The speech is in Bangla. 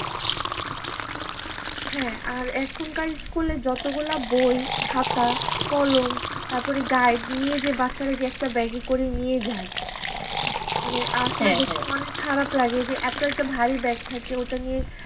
হ্যাঁ, আর এখনকার school এ যতগুলা বই-খাতা-কলম, তারপরে guide নিয়ে যে বাচ্চারা যে একটা bag এ করে নিয়ে যায়। মানে আসলে দেখতে অনেক খারাপ লাগে যে এত একটা ভারী bag থাকে ওটা নিয়ে